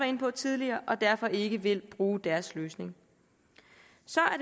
inde på tidligere og derfor ikke vil bruge deres løsning så